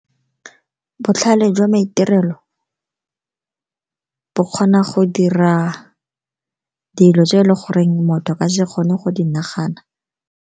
Botlhale jwa maitirelo bo kgona go dira dilo tse ele goreng motho a ka se kgone go di nagana.